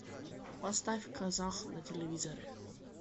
поставь казах на телевизоре